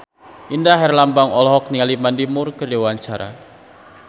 Indra Herlambang olohok ningali Mandy Moore keur diwawancara